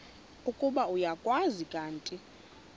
ukuba uyakwazi kanti